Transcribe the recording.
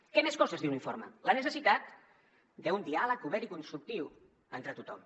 quines coses més diu l’informe la necessitat d’un diàleg obert i constructiu entre tothom